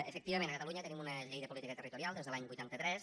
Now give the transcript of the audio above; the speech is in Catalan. efectivament a catalunya tenim una llei de política territorial des de l’any vuitanta tres